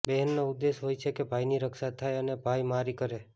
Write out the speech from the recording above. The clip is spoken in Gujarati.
બહેનનો ઉદ્દેશ હોય છે કે ભાઇની રક્ષા થાય અને ભાઇ મારી કરે